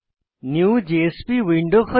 new JSP window খোলে